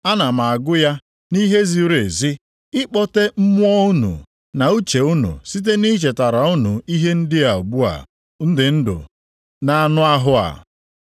Ana m agụ ya nʼihe ziri ezi ịkpọte mmụọ unu na uche unu site nʼichetara unu ihe ndị a ugbu a m dị ndụ nʼanụ ahụ a.